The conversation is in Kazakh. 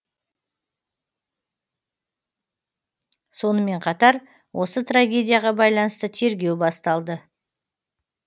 сонымен қатар осы трагедияға байланысты тергеу басталды